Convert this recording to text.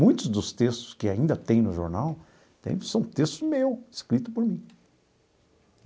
Muitos dos textos que ainda tem no jornal são textos meu, escrito por mim.